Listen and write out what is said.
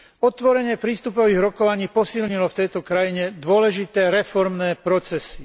Otvorenie prístupových rokovaní posilnilo v tejto krajine dôležité reformné procesy.